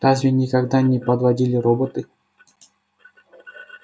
разве никогда не подводили роботы